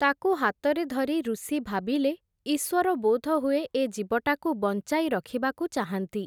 ତାକୁ ହାତରେ ଧରି ଋଷି ଭାବିଲେ, ଇଶ୍ଵର ବୋଧହୁଏ ଏ ଜୀବଟାକୁ ବଞ୍ଚାଇ ରଖିବାକୁ ଚାହାନ୍ତି ।